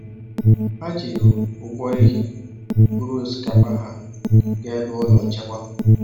Ha jiri ụgbọ ehi buru osikapa ha gaa ebe ụlọ nchekwa.